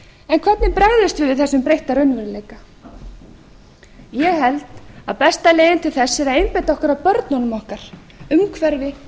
við við þessum breytta raunveruleika ég held að besta leiðin til þess sé að einbeita okkur að börnunum okkar umhverfi